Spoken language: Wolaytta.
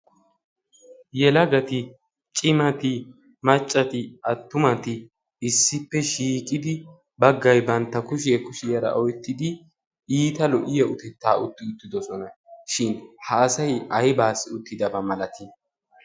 yelagati cimati maccati attumati issippe shiiqidi baggai bantta kushiyee kushiyaara oittidi iita lo"iyo utettaa utti uttidosona shin haasayi aibaassi uttidabaa malatii?